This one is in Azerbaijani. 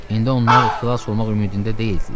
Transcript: İndi onlar xilas olmaq ümidində deyildilər.